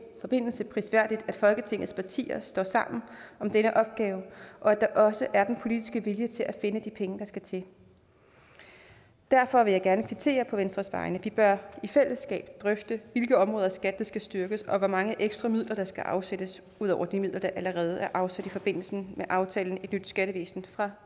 forbindelse prisværdigt at folketingets partier står sammen om denne opgave og at der også er den politiske vilje til at finde de penge der skal til derfor vil jeg gerne på venstres vegne kvittere vi bør i fællesskab drøfte hvilke områder i skat der skal styrkes og hvor mange ekstra midler der skal afsættes ud over de midler der allerede er afsat i forbindelse med aftalen et nyt skattevæsen fra